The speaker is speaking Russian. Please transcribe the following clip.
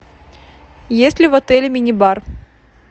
есть ли в отеле мини бар